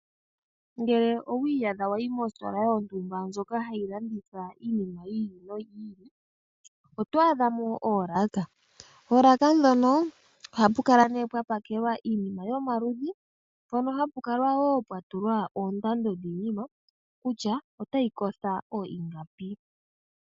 Ngele owa iyadha wa yi mositola yontumba ndjoka hayi landitha iinima yi ili noyi ili, oto adha mo oolaka. Oolaka ndhono ohapu kala nduno pwa pakelwa iinima yomaludhi mpono ha pu kala wo pwa nyolwa oondando kutya iinima otayi kotha ingapi.